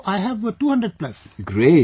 Now I have 200 plus...